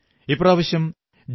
ഇപ്രാവശ്യം ജി